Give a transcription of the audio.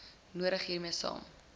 nodig hiermee saam